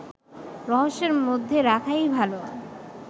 রহস্যের মধ্যে রাখাই ভালো